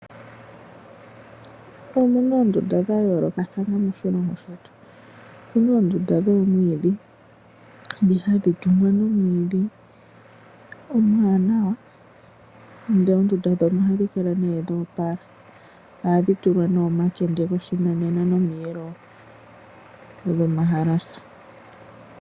Omu na oondunda dha yoolokathana moshilongo shetu. Omu na oondunda dhoomwiidhi, ndhi hadhi tungwa nomwiidhi omwaanawa, ndele oondunda ndhono ohadhi kala dha opala. Ohadhi tulwa omakende goshinanena nomiyelo dhomahalasa.